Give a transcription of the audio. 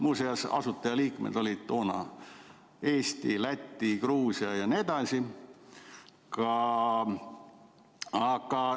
Muuseas, asutajaliikmed olid Eesti, Läti, Gruusia jt.